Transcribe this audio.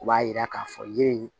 U b'a yira k'a fɔ yiri